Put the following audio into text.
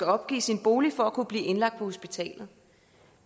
opgive sin bolig for at kunne blive indlagt på hospitalet